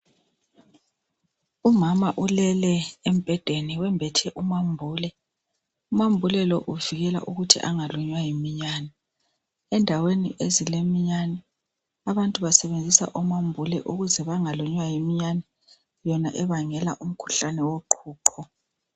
Umama ulele embhedeni wembethe umambule. Umambule lo uvikela ukuthi angalunywa yiminyane. Endaweni ezileminyane abantu basebenzisa umambule ukuze bangalunywa yiminyane yona ebangela umkhuhlane woqhuqho.